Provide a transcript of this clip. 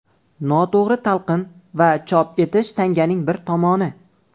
Noto‘g‘ri talqin va chop etish tanganing bir tomoni.